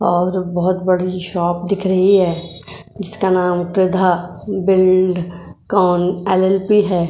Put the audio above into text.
और बहुत बड़ी शॉप दिख रही है इसका नाम क्रीधा बिल्डकॉन एल.एल.पी. है।